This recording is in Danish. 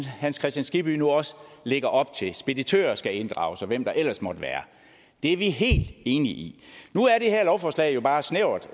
hans kristian skibby nu også lægger op til altså at speditørerne skal inddrages og hvem der ellers måtte være det er vi helt enige i nu er det her lovforslag jo bare snævert